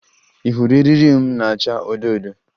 Ị hụrụ eriri m na-acha odo odo?